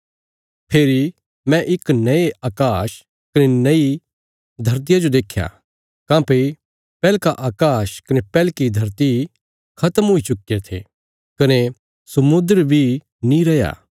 फेरी मैं इक नये अकाश कने नई धरतिया जो देख्या काँह्भई पैहलका अकाश कने पैहलकी धरती खत्म हुई चुक्कीरे थे कने समुद्र बी नीं रैया